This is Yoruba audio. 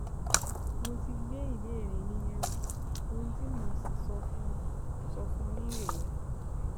Mo ti gbé ìbéèrè yín yẹ̀wò, ohun tí mo sì fẹ́ sọ fún yín rèé